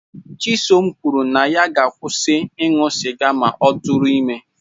Chisom kwuru na ya ga-akwụsị ịṅụ sịga ma ọ tụrụ ime